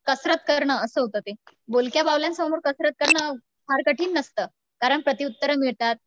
कसरत करणं असं होतं ते. बोलक्या बाहुल्यांसमोर कसरत करणं फार कठीण नसतं कारण प्रतिउत्तरे मिळतात.